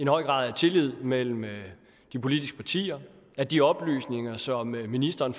høj grad af tillid mellem de politiske partier at de oplysninger som ministeren